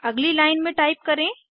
अगली लाइन में टाइप करें